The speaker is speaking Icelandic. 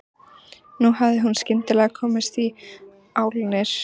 Nú hafði hún skyndilega komist í álnir.